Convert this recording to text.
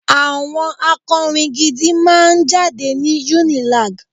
àwọn akọrin gidi máà ń jáde ní UNILAG